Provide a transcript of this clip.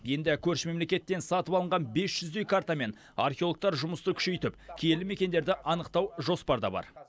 енді көрші мемлекеттен сатып алынған бес жүздей картамен археологтар жұмысты күшейтіп киелі мекендерді анықтау жоспарда бар